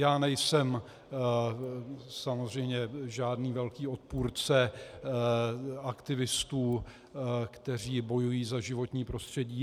Já nejsem samozřejmě žádný velký odpůrce aktivistů, kteří bojují za životní prostředí.